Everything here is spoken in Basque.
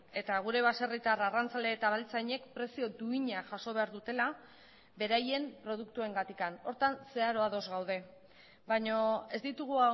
eta gure baserritar arrantzale eta abeltzainek prezio duina jaso behar dutela beraien produktuengatik horretan zeharo ados gaude baina ez ditugu